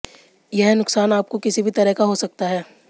यह नुकसान आपको किसी भी तरह का हो सकता है